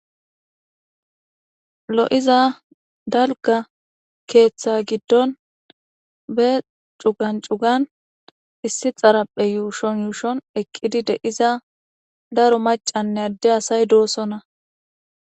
lo7iza dalga keeththa giddon be cugan cugan issi xarapphe yuushon yuushon eqqidi de iza daro macanne adde asay doossonna